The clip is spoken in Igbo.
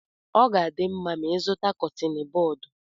Ọ ga-adị mma ma ịzụta Kọttin bọd